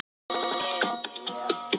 Merkingartengslin eru þó óljós.